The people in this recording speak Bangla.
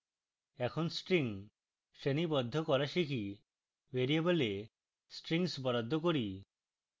এখন string শ্রেণীবদ্ধ করা শিখি ভ্যারিয়েবলে strings বরাদ্দ করি